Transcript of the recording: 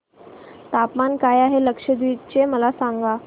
तापमान काय आहे लक्षद्वीप चे मला सांगा